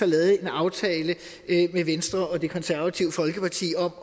lavede en aftale med venstre og det konservative folkeparti om